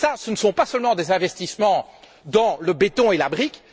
Ce ne sont pas seulement des investissements dans le béton et la brique.